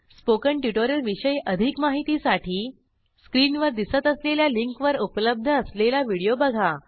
spoken tutorial विषयी अधिक माहितीसाठी स्क्रीनवर दिसत असलेल्या लिंकवर उपलब्ध असलेला व्हिडिओ बघा